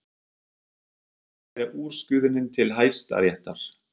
Hödd Vilhjálmsdóttir: Ætlið þið að kæra úrskurðinn til Hæstaréttar?